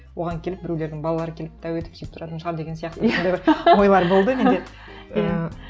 оған келіп біреулердің балалары келіп тәу етіп сөйтіп тұратын шығар деген сияқты сондай бір ойлар болды менде